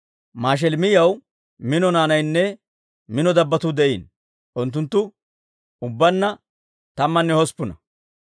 Mashelemiyaw mino naanaynne mino dabbotuu de'iino; unttunttu ubbaanna tammanne hosppuna.